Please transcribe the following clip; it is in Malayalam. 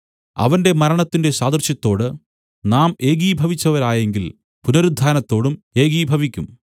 അവന്റെ മരണത്തിന്റെ സാദൃശ്യത്തോട് നാം ഏകീഭവിച്ചവരായെങ്കിൽ പുനരുത്ഥാനത്തോടും ഏകീഭവിക്കും